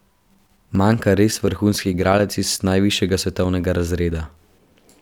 Manjka res vrhunski igralec iz najvišjega svetovnega razreda.